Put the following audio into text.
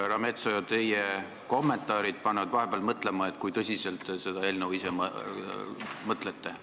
Härra Metsoja, teie kommentaarid panevad vahepeal mõtlema, kui tõsiselt te ise seda eelnõu võtate.